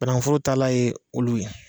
Banagunforo taalan ye olu ye.